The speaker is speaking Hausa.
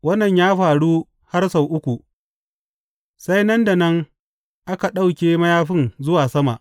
Wannan ya faru har sau uku, sai nan da nan aka ɗauke mayafin zuwa sama.